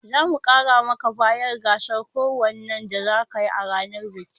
Za mu mara maka baya a gasar kokawan da zakayi a ranar bikin